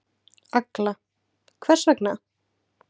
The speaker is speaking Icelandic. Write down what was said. Agla: Hvers vegna?